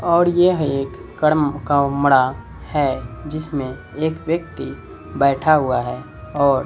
और यह एक कर्म का मरा है जिसमें एक व्यक्ति बैठा हुआ है और--